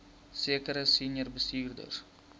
sekere senior bestuurders